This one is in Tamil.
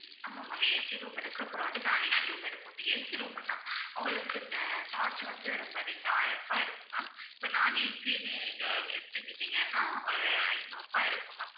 ஆமாம் ma'am AC room இருக்கு அப்புறம் வந்து non AC room இருக்கு ma'am இப்ப AC room னா உங்களுக்கு ஆஹ் charge வந்து ரொம்ப அதிகம் ஆயிரம் ரூபாய் இருக்கும் ma'am இப்ப non AC நீங்க எடுத்துக்கிட்டிங்கன்னா அஹ் ஐநூறு ரூபாய் இருக்கும் ma'am